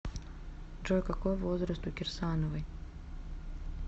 джой какой возраст у кирсановой